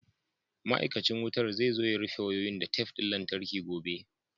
Ma'aikacin wutan zai zo ya rufe wayoyin da tef ɗin lantarki gobe.